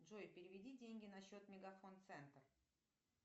джой переведи деньги на счет мегафон центр